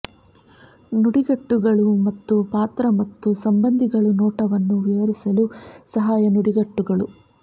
ನುಡಿಗಟ್ಟುಗಳು ಮತ್ತು ಪಾತ್ರ ಮತ್ತು ಸಂಬಂಧಿಗಳು ನೋಟವನ್ನು ವಿವರಿಸಲು ಸಹಾಯ ನುಡಿಗಟ್ಟುಗಳು